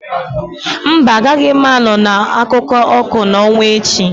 No, I won't be at the moon light tale tomorrow.